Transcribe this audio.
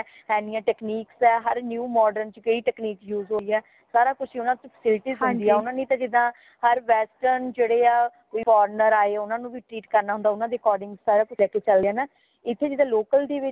ਇਨੀਆਂ technique ਹੈ ਹਰ new modern ਚ ਕਈ technique use ਹੋਈ ਹੈ ਸਾਰਾ ਕੁਛ ਊਨਾ ਨੂ facilities ਹੁੰਦੀ ਹੈ ਜਿਦਾ ਹਰ western ਜੇੜੇ ਹਾ ਕੋਈ ਫੋਰਨਰ ਆਏ ਓਨਾ ਨੂ ਵੀ treat ਕਰਨਾ ਹੁੰਦਾ ਊਨਾ ਦੇ according ਸਾਰਾ ਕੁਛ ਲੈ ਕੇ ਚਲਣੇ ਹਾਂ ਹੈ ਨਾ ਇਥੇ ਜਿਦਾ local ਦੇ ਵਿੱਚ